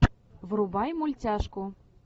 врубай мультяшку